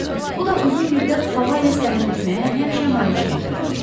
Bu da uzun müddət hava ilə səyahət etməyə həmişə maneçilik törədib.